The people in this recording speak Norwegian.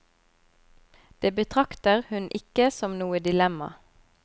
Det betrakter hun ikke som noe dilemma.